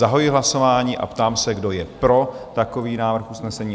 Zahajuji hlasování a ptám se, kdo je pro takový návrh usnesení?